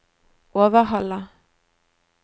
Overhalla